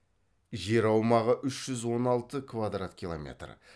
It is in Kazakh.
жер аумағы үш жүз он алты квадрат километр